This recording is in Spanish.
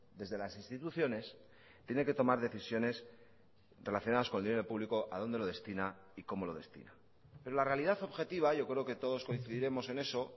desde las instituciones tiene que tomar decisiones relacionadas con el dinero público a dónde lo destina y cómo lo destina pero la realidad objetiva yo creo que todos coincidiremos en eso